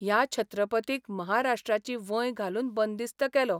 ह्या छत्रपतीक महाराष्ट्राची वंय घालून बंदिस्त केलो.